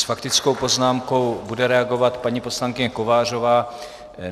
S faktickou poznámkou bude reagovat paní poslankyně Kovářová.